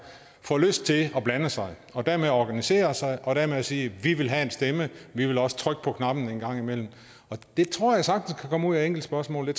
få lyst til at blande sig og dermed organisere sig og dermed sige vi vil have en stemme vi vil også trykke på knappen engang imellem det tror jeg sagtens kan komme ud af enkeltspørgsmål